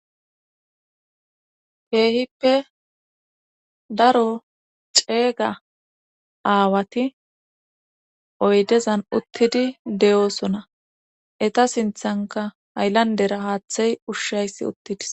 Keehippe daro ceeyga aawati oydezan uttidi de7oosona eta sinthanka ayllandera haaththey ushshayssi uttidis